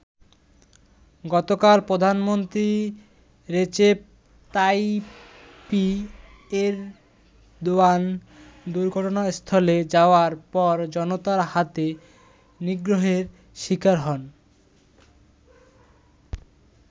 গতকাল প্রধানমন্ত্রী Recep Tayyip Erdogan দুর্ঘটনাস্থলে যাওয়ার পর জনতার হাতে নিগ্রহের শিকার হন।